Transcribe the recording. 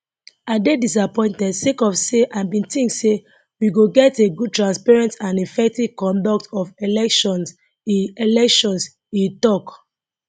i dey disappointed sake of say i bin tink say we go get a good transparent and effective conduct of electionse electionse tok